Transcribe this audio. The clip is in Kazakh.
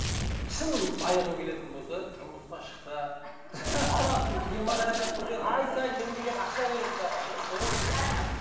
шын байығың келетін болса тұрмысқа шық та бала ту демографияны көтер ай сайын мемлекет ақша береді саған